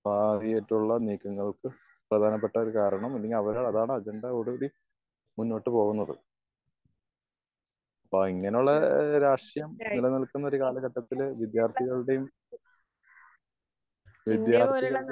കാര്യായിട്ടുള്ള നീക്കങ്ങൾക് പ്രധാനപ്പെട്ട ഒരു കാരണം. അല്ലെങ്കി അവരെ അതാണ് അജണ്ടയിൽ മുന്നോട്ട് പോകുന്നത്. അപ്പോ ഇങ്ങനെ ഉള്ളൊരു രാഷ്ട്രീയം നില നിൽക്കുന്ന ഒരു കാലഘട്ടത്തില് വിദ്യാർത്ഥികളുടെയും വിദ്യാർത്ഥികളുടെ